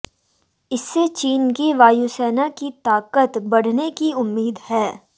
इससे चीन की वायुसेना की ताकत बढने की उम्मीद है